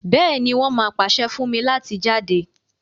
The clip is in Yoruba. béèni, won má pase fún mí láti jáde.